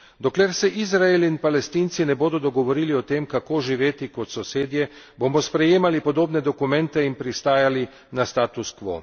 Dokler se Izrael in Palestinci ne bodo dogovorili o tem, kako živeti kot sosedje, bomo sprejemali podobne dokumente in pristajali na status quo.